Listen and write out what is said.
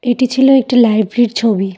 এটি ছিল একটি লাইব্রির ছবি।